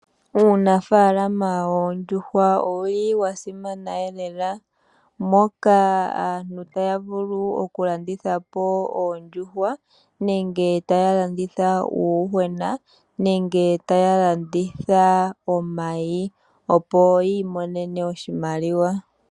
Uunafaalama woondjuhwa owuli wasimana elela, moka aantu taya vulu okulanditha po oondjuhwa, nenge tayalanditha uuyuhwena